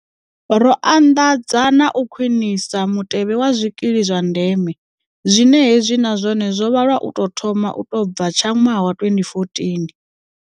Ro anḓadza na u khwinisa Mutevhe wa Zwikili zwa Ndeme, zwine hezwi na zwone zwo vha lwa u tou thoma u tou bva tsha ṅwaha wa 2014.